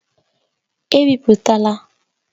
Ebipụtala!